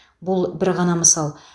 бұл бір ғана мысал